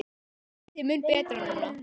Þetta er mun betra núna.